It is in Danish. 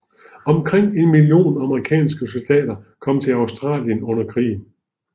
Omkring en million amerikanske soldater kom til Australien under krigen